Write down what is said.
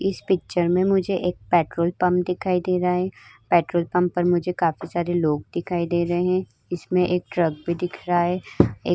इस पिक्चर में मुझे एक पेट्रोल पंप दिखाई दे रहा है। पेट्रोल पंप में मुझे काफी सारे लोग दिखाई दे रहे हैं। इसमें एक ट्रक भी दिख रहा है। एक --